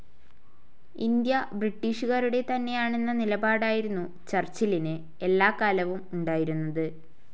India ബ്രിട്ടീഷുകാരുടെ തന്നെയാണെന്ന നിലപാടായിരുന്നു ചർച്ചിലിന് എല്ലാക്കാലവും ഉണ്ടായിരുന്നത്.